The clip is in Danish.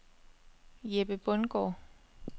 Jeppe Bundgaard